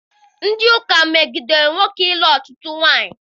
Ndị ụka megidere nwoke ịlụ ọtụtụ nwaanyị.